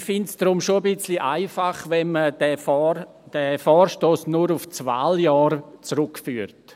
Daher finde ich es schon ein wenig einfach, wenn man diesen Vorstoss nur auf das Wahljahr zurückführt.